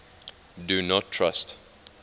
do not trust